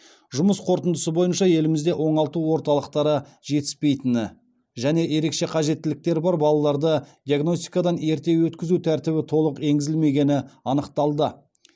жұмыс қорытындысы бойынша елімізде оңалту орталықтары жетіспейтіні және ерекше қажеттіліктері бар балаларды диагностикадан ерте өткізу тәртібі толық енгізілмегені анықталды